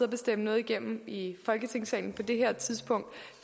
og bestemme noget igennem i folketingssalen på det her tidspunkt